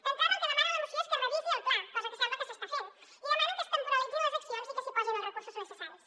d’entrada el que demana la moció és que es revisi el pla cosa que sembla que s’està fent i demana que es temporalitzin les accions i que s’hi posin els recursos necessaris